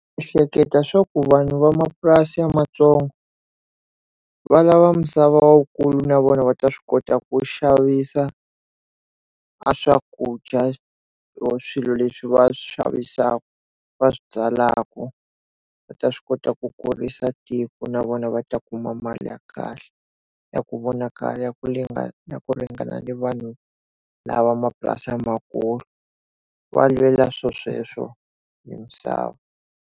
Ehleketa swa ku vanhu vamapurasi ya matsongo va lava misava wukulu na vona va ta swi kota ku xavisa a swakudya swilo leswi va swi xavisaka va swi byalaka va ta swi kota ku kurisa tiko na vona va ta kuma mali ya kahle ya ku vonakala ku ringana ku ringana ni vanhu lava va mapurasi lamakulu va lwela swo sweswo hi misava.